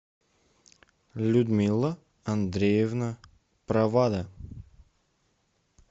людмила андреевна провада